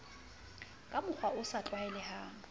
ka mokgwa o sa tlwaelehang